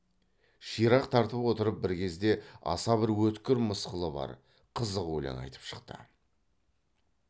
ширақ тартып отырып бір кезде аса бір өткір мысқылы бар қызық өлең айтып шықты